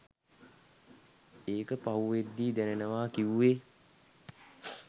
ඒක පහුවෙද්දී දැනෙනවා කිව්වේ